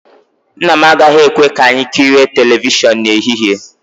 Nna m agaghị ekwe ka anyị ekirie telivishọn n'ehihie